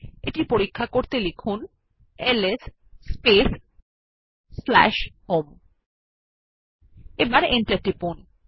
এটি পরীক্ষা করতে লিখুন এলএস স্পেস home এবং এন্টার টিপুন